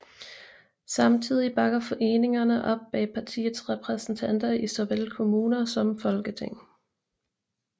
Samtidig bakker foreningerne op bag partiets repræsentanter i såvel kommuner som Folketing